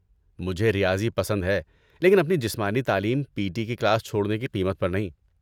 مجھے ریاضی پسند ہے لیکن اپنی جسمانی تعلیم پی ٹی کی کلاس چھوڑنے کی قیمت پر نہیں